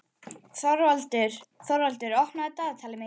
Þorvaldur, opnaðu dagatalið mitt.